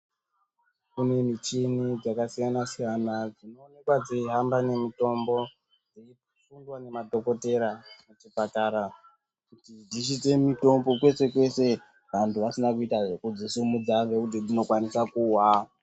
Kune michini dzakasiyana-siyana dzinoonekwa dzeihamba nemitombo dzeisundwa nemadhokotera kuchipatara kuti dzisvitse mitombo kwese-kwese vandu vasina kuita zvekudzisimudza ngekuti dzinokwanisa kuwa